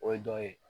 O ye dɔ ye